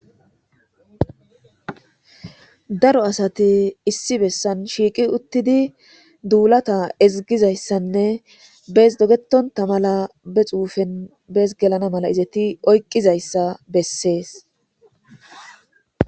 Daro asati issi bessan shiiqi uttidi duulata ezigizayssanne bees dogetonta mala be xuufen bees gelana mala izeti oyqqizayssa bessees.